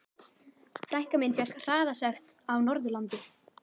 Frænka mín fékk hraðasekt á Norðurlandi.